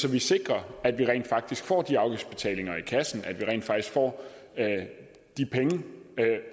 at vi sikrer at vi rent faktisk får de afgiftsbetalinger i kassen at vi rent faktisk får de penge